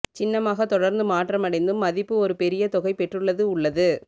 சின்னமாக தொடர்ந்து மாற்றமடைந்தும் மதிப்பு ஒரு பெரிய தொகை பெற்றுள்ளது உள்ளது